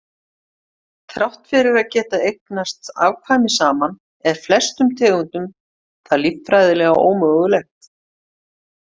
Þrátt fyrir að geta eignast afkvæmi saman er flestum tegundum það líffræðilega ómögulegt.